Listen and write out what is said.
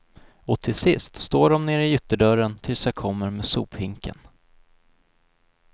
Och till sist står dom nere i ytterdörren tills jag kommer med sophinken.